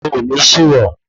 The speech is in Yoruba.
Ó nì sì yàn